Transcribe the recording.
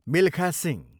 Milkha Singh